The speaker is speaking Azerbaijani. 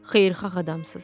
Xeyirxah adamsız.